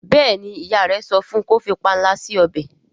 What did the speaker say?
béèni ìyá rẹ sọfún kò fí panla si ọbẹ.